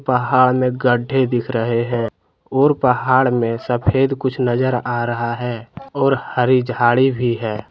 पहा में गड्ढे दिख रहे हैं और पहाड़ में सफेद कुछ नजर आ रहा है और हरी झाड़ी भी है ।